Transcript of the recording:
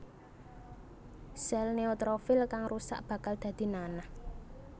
Sèl neutrofil kang rusak bakal dadi nanah